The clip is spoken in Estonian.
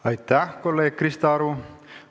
Aitäh, kolleeg Krista Aru!